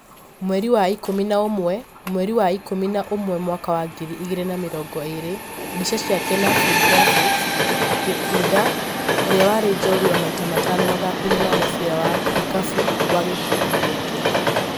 Mweri wa ikũmi na ũmwe mweri wa ikũmi na ũmwe mwaka wa ngiri igĩrĩ na mĩrongo ĩĩrĩ, mbica ya Kenafri graphics ,Gikunda, ũrĩa warĩ njorua maita matano mathako-inĩ ma mũbira wa ikafu wa gũkundi gĩake